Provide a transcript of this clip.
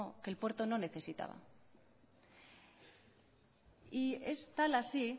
que el puerto no necesitaba y es tal así